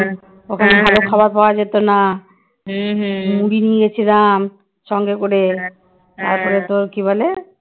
ওখানে ভালো খাবার পাওয়া যেত না মুড়ি নিয়েছিলাম সঙ্গে করে তারপরে তোর কি বলে